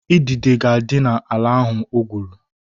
Idide ga-adị n'ala ahụ o gwuru